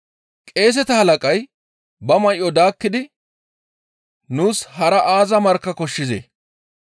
Qeeseta halaqay ba may7o daakkidi, «Nuus hara aaza markka koshshizee?